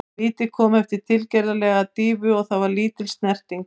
Vítið kom eftir tilgerðarlega dýfu og það var lítil snerting.